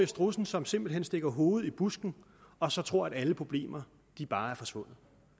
strudsen som simpelt hen stikker hovedet i busken og så tror at alle problemer bare er forsvundet